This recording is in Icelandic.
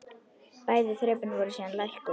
Bæði þrepin voru síðan lækkuð.